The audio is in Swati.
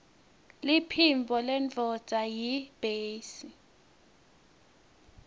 liphimbo lendvodza yiytbase